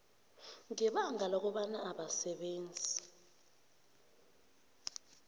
ngebanga lokobana abasebenzi